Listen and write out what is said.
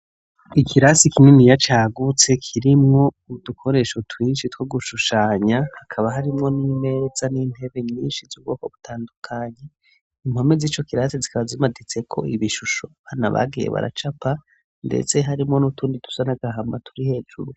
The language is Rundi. Ikirasi kininiya cagutse kirimwo udukoresho twinshi two gushushanya, akaba harimwo n'imereza n'intebe nyinshi z'ubwoko butandukanye, impome z'ico kirasi zikaba zimaditseko ibishusho abana bagiye baracapa, ndetse harimo n'utundi tusa n'agahama turi hejuru.